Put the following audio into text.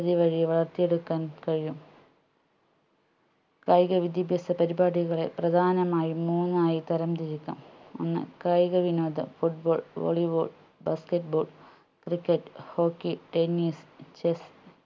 തി വഴി വളർത്തിയെടുക്കാൻ കഴിയും കായിക വിദ്യാഭ്യാസ പരിപാടികളെ പ്രധാനമായും മൂന്നായി തരം തിരിക്കാം ഒന്ന് കായിക വിനോദം foot ball volleyball basket ball cricket hockey tennis chess